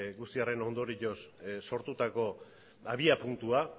guzti horren ondorioz sortutako abiapuntua